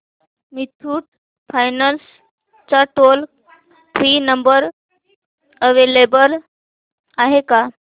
Muthoot finance चा toll free number available आहे का